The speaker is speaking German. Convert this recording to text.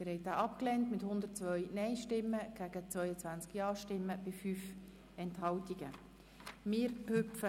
Sie haben den Rückweisungsantrag mit 22 Ja- gegen 102 Nein-Stimmen bei 5 Enthaltungen abgelehnt.